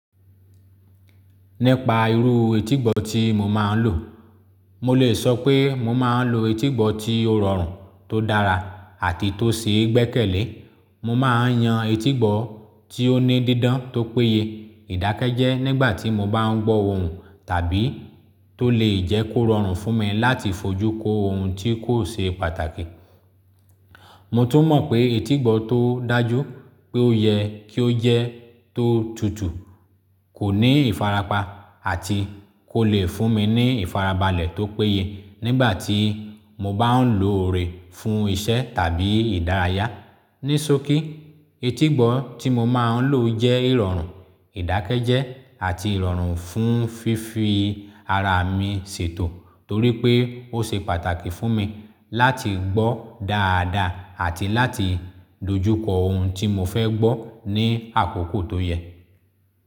Nípa irú etígbọ̀ tí mo máa ń lò, mo lè sọ pé mo máa ń lò etígbọ̀ tí ó rọrùn, tó dára àti tó ṣeé gbẹ́kẹ̀lé. Mo máa ń yan etígbọ̀ tí ó ní dídán tó péye, ìdákẹ́jẹ́ nígbàtí mo bá ń gbọ́ ohùn tàbí tó lè jẹ́ kó rọrùn fún mi láti fojú kó ohun tí kò ṣe pàtàkì. Mo tún mọ̀ pé etígbọ̀ tó dájú pé ó yẹ kí ó jẹ́ tó tutù, kò ní ìfarapa àti kó lè fún mi ní ìfarabalẹ̀ tó péye nígbàtí mo bá ń lo o rẹme fún iṣẹ́ tàbí ìdárayá. Nísokí etígbọ̀ tí mo máa ń lò jẹ́ ìrọ̀rùn, ìdákẹ́jẹ́ àti ìrọ̀rùn fún fífi ara mi ṣètò torí pé ó ṣe pàtàkì fún mi láti gbọ́ dáadáa àti láti dojúkọ ohun tí mo fẹ́ gbọ́ ní àkókò tó yẹ.